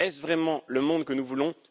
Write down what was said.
Est ce vraiment le monde que nous voulons?